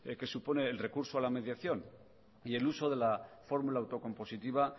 que supone el recurso a la mediación y el uso de la fórmula autocompositiva